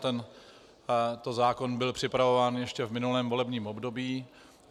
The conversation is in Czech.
Tento zákon byl připravován ještě v minulém volebním období.